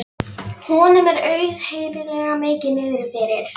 Honum er auðheyrilega mikið niðri fyrir.